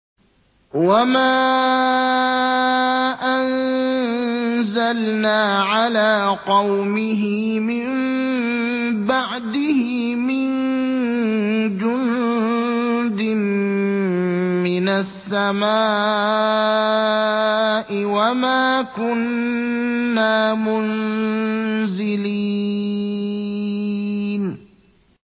۞ وَمَا أَنزَلْنَا عَلَىٰ قَوْمِهِ مِن بَعْدِهِ مِن جُندٍ مِّنَ السَّمَاءِ وَمَا كُنَّا مُنزِلِينَ